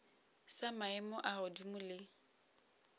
sa maemo a godimo le